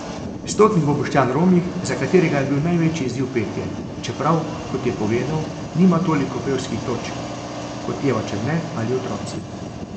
Stotnik bo Boštjan Romih, za katerega je bil največji izziv petje, čeprav, kot je povedal, nima toliko pevskih točk, kot Eva Černe ali otroci.